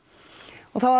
og þá